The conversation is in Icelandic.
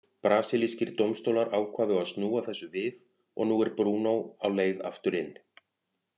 Brasilískir dómstólar ákváðu að snúa þessu við og nú er Bruno á leið aftur inn.